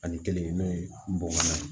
Ani kelen n'o ye bɔgɔ ye